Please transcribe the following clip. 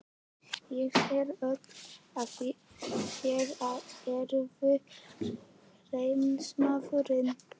Ég sé á öllu, að þér eruð heiðursmaður.